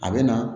A bɛ na